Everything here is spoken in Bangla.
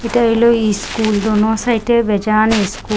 এটা হইল ইস্কুল দোনো সাইডে বেজান ইস্কুল ।